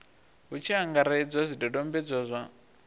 hu tshi angaredzwa zwidodombedzwa zwa